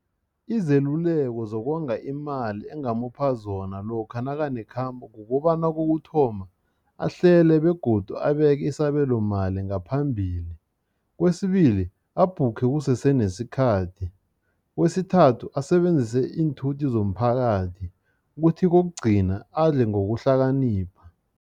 Izeluleko zokonga imali engamupha zona lokha nakanekhambo kukobana kokuthoma, ahlele begodu abeke isabelomali ngaphambili. Kwesibili, abhukhe kusese nesikhathi. Kwesithathu, asebenzise iinthuthi zomphakathi, kuthi kokugcina, adle ngokuhlakanipha.